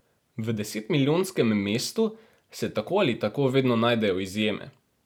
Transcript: V desetmilijonskem mestu se tako ali tako vedno najdejo izjeme.